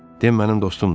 Den mənim dostumdur.